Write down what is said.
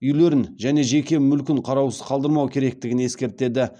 үйлерін және жеке мүлкін қараусыз қалдырмау керектігін ескертеді